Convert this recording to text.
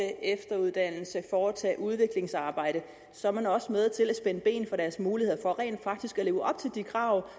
efteruddanne foretage udviklingsarbejde så er man også med til at spænde ben for deres muligheder for rent faktisk at leve op til de krav